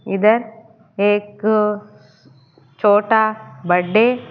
इधर एक छोटा बडे --